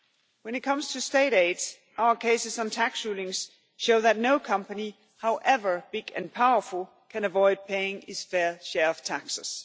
When it comes to state aids our cases on tax rulings show that no company, however big and powerful, can avoid paying its fair share of taxes.